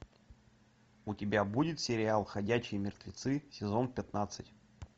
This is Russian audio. у тебя будет сериал ходячие мертвецы сезон пятнадцать